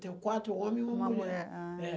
Tem quatro homens e uma mulher. Uma mulher? É. Ah...